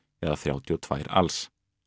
eða þrjátíu og tvö alls